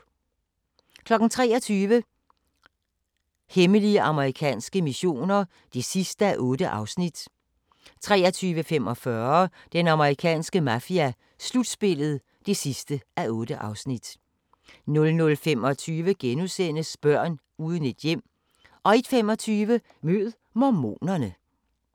23:00: Hemmelige amerikanske missioner (8:8) 23:45: Den amerikanske mafia: Slutspillet (8:8) 00:25: Børn uden et hjem * 01:25: Mød mormonerne